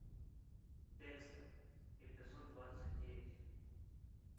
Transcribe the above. декстер эпизод двадцать девять